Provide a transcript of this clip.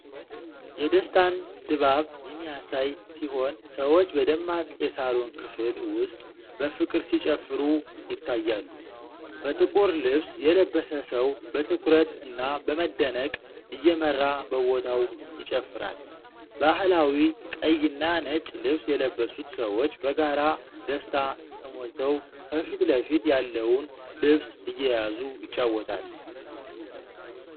የደስታን ድባብ የሚያሳይ ሲሆን፣ ሰዎች በደማቅ የሳሎን ክፍል ውስጥ በፍቅር ሲጨፍሩ ይታያሉ። በጥቁር ልብስ የለበሰ ሰው በትኩረት እና በመደነቅ እየመራ በቦታው ይጨፍራል። ባህላዊ ቀይና ነጭ ልብስ የለበሱት ሰዎች በጋራ ደስታ ተሞልተው ከፊት ለፊት ያለውን ልብስ እየያዙ ይጫወታሉ።